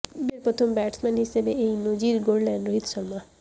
বিশ্বের প্রথম ব্যাটসম্যান হিসেবে এই নজির গড়লেন রোহিত শর্মা